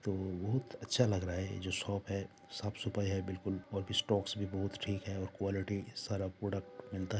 तो बहुत अच्छा लग रहा हैं जो शॉप हे साफ़ सफाई है बिलकुल और भी स्टॉक्स भी बहुत ठिक है और क्वॉलिटी सारा प्रोडक्ट मिलता--